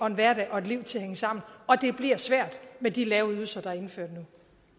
en hverdag et liv til at hænge sammen og det bliver svært med de lave ydelser der er indført